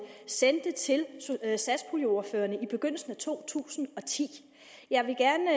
sendte til satspuljeordførerne i begyndelsen af to tusind og ti jeg vil gerne